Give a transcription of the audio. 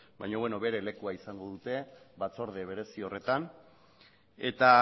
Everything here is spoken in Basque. baina beno bere lekua izango dute batzorde berezi horretan eta